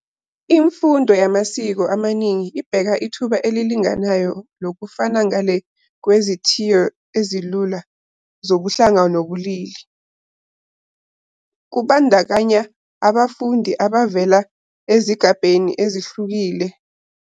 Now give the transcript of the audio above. Imfundo yamasiko amaningi ibheka ithuba elilinganayo lokufunda ngale kwezithiyo ezilula zobuhlanga nobulili. Kubandakanya abafundi abavela ezigabeni ezehlukene zomphakathi, amaqembu ezizwe, ubunikazi bobulili, nezici zamasiko ezengeziwe.